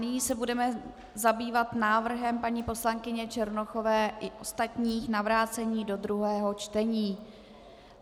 Nyní se budeme zabývat návrhem paní poslankyně Černochové i ostatních na vrácení do druhého čtení.